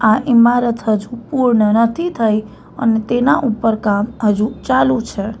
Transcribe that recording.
આ ઇમારત હજુ પૂર્ણ નથી થઈ અને તેના ઉપર કામ અજુ ચાલુ છે.